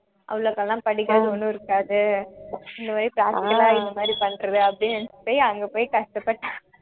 அவ்வளோக்கெல்லாம் படிக்கிறது ஒன்னும் இருக்காது இந்த மாதிரி practical ஆ இந்த மாதிரி பண்றது அப்படின்னு நினைச்சுட்டு போய் அங்க போய் கஷ்டப்பட்டான்